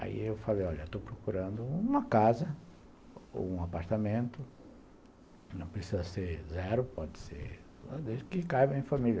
Aí eu falei, olha, estou procurando uma casa ou um apartamento, não precisa ser zero, pode ser desde que caiba em família.